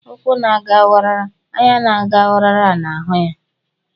Ukwu na ga wara; anya na ga wara na hu ya